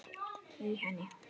í henni